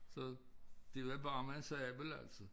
Så det var bare med en sabel altså